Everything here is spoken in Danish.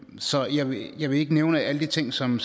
så jeg vil jeg vil ikke nævne alle de ting som